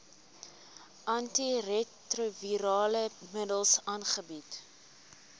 antiretrovirale middels aangebied